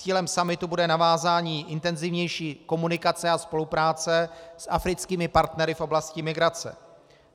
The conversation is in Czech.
Cílem summitu bude navázání intenzivnější komunikace a spolupráce s africkými partnery v oblasti migrace.